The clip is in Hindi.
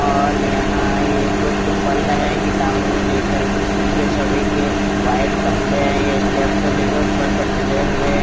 और यहाँ पे कुछ पल रहे है किताबों में देख कर इनके सभी के व्हाइट कपड़े है ये स्टेप से लेके ऊपर तक खले हुए है ।